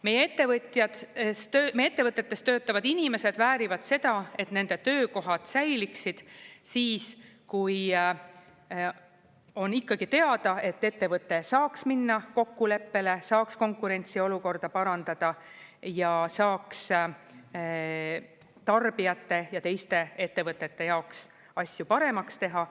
Meie ettevõtetes töötavad inimesed väärivad seda, et nende töökohad säiliksid siis, kui on ikkagi teada, et ettevõte saaks minna kokkuleppele, saaks konkurentsiolukorda parandada ja saaks tarbijate ja teiste ettevõtete jaoks asju paremaks teha.